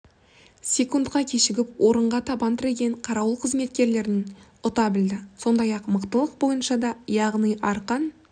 секундқа кешігіп орынға табан тіреген қарауыл қызметкерлерінен ұта білді сондай-ақ мықтылық бойынша да яғни арқан